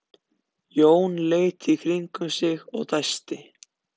Jón leit í kringum sig og dæsti.